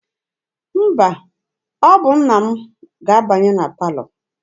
Mba, ọ bụ nna m ga-abanye na palọ.